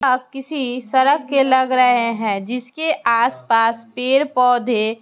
आप किसी सड़क के लग रहे हैं जिसके आस पास पेड़-पौधे--